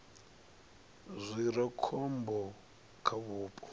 zwi re khombo kha vhupo